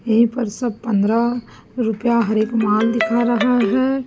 यहीं पर सब पंद्रह रुपया हर एक माल दिख रहा है।